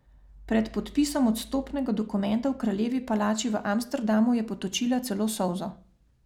Pred podpisom odstopnega dokumenta v kraljevi palači v Amsterdamu je potočila celo solzo.